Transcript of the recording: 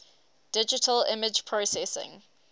digital image processing